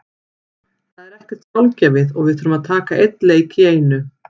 Það er ekkert sjálfgefið og við þurfum að taka einn leik í einu.